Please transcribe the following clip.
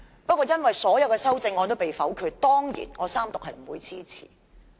不過，因為所有修正案也被否決，我當然不會支持三讀。